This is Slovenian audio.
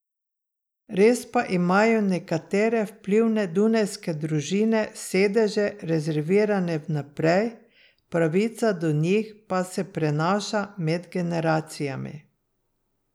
Res pa imajo nekatere vplivne dunajske družine sedeže rezervirane vnaprej, pravica do njih pa se prenaša med generacijami.